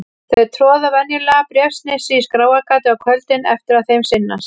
Þau troða venjulega bréfsnifsi í skráargatið á kvöldin eftir að þeim sinnast.